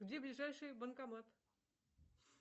где ближайший банкомат